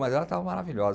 Mas ela estava maravilhosa.